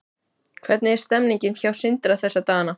Hvernig er stemmningin hjá Sindra þessa dagana?